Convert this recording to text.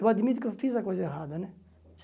Eu admito que eu fiz a coisa errada, né?